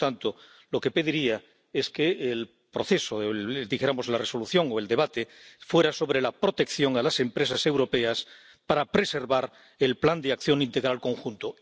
Y, por lo tanto, lo que pediría es que el proceso —dijéramos, la resolución o el debate— fuera sobre la protección a las empresas europeas para preservar el Plan de Acción Integral Conjunto.